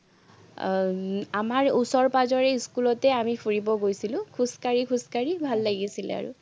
আহ আমাৰ ওচৰ-পাজৰে স্কুলতে আমি ফুৰিব গৈছিলো, খোজকাঢ়ি খোজকাঢ়ি ভাল লাগিছিলে আৰু।